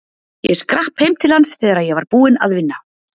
Ég skrapp heim til hans þegar ég var búinn að vinna.